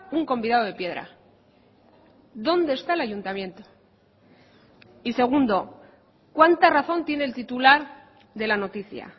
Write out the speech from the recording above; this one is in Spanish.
un convidado de piedra dónde está el ayuntamiento y segundo cuánta razón tiene el titular de la noticia